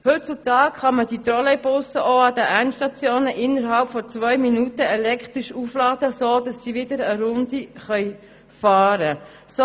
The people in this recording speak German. Heutzutage können diese Trolleybusse an den Endstationen innerhalb von zwei Minuten elektrisch aufgeladen werden, sodass sie wieder eine Runde fahren können.